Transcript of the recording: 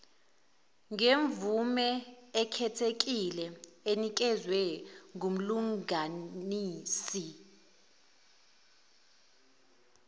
ngemvumeekhethekile enikezwe ngyumlunganisi